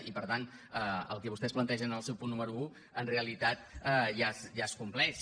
i per tant el que vostès plantegen en el seu punt número un en realitat ja es compleix